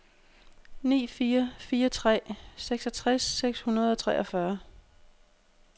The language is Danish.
ni fire fire tre seksogtres seks hundrede og treogfyrre